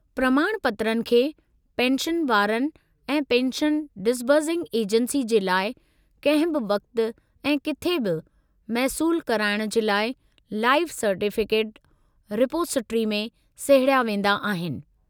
प्रमाणपत्रनि खे पेंशनवारनि ऐं पेंशन डिसबर्सिंग एजेंसी जे लाइ कंहिं बि वक़्त ऐं किथे बि मौसूलु कराइणु जे लाइ लाइफ सर्टिफ़िकेट रिपोसिट्री में सहेड़िया वेंदा आहिनि।